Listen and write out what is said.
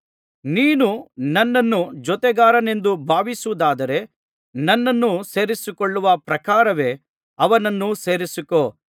ನೀನು ನನ್ನನ್ನು ಜೊತೆಗಾರನೆಂದು ಭಾವಿಸುವುದಾದರೆ ನನ್ನನ್ನು ಸೇರಿಸಿಕೊಳ್ಳುವ ಪ್ರಕಾರವೇ ಅವನನ್ನು ಸೇರಿಸಿಕೋ